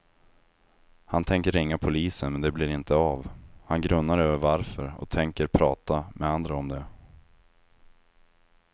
Han tänker ringa polisen men det blir inte av, han grunnar över varför och tänker prata med andra om det.